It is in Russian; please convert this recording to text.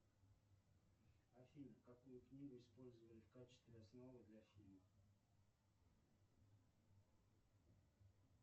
афина какую книгу использовали в качестве основы для фильма